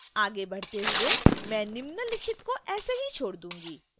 आगे बढ़ते हुए मैं निम्नलिखित को ऐसे ही छोड़ दूंगी